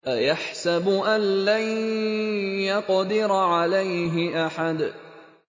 أَيَحْسَبُ أَن لَّن يَقْدِرَ عَلَيْهِ أَحَدٌ